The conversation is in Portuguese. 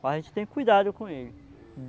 Mas a gente tem cuidado com ele.